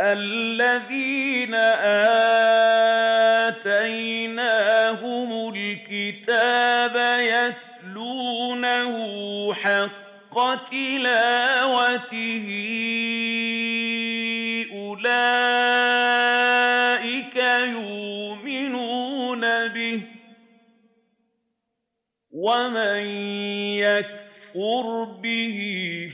الَّذِينَ آتَيْنَاهُمُ الْكِتَابَ يَتْلُونَهُ حَقَّ تِلَاوَتِهِ أُولَٰئِكَ يُؤْمِنُونَ بِهِ ۗ وَمَن يَكْفُرْ بِهِ